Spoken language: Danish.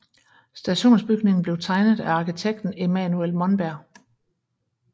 Stationsbygningen blev tegnet af arkitekten Emanuel Monberg